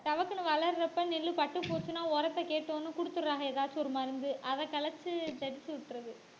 டபக்குன்னு வளர்றப்ப நெல்லு பட்டுப் போச்சுன்னா உரத்தைக் கேக்கும் கொடுத்துடுறாங்க. ஏதாச்சும் ஒரு மருந்து. அதை கலைச்சு தெளிச்சி விட்டுறது